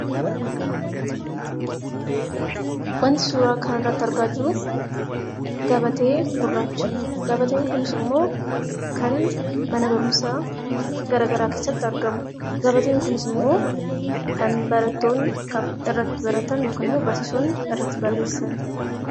Wanti suura kana irratti argaa jirru gabatee gurraacha. Gabateen Kunis immoo kan mana barumsaa garagaraa keessatti argamudha. Gabateen Kunis immoo kan barattootni irratti baratanii fi barsiisonni irratti barsiisanidha.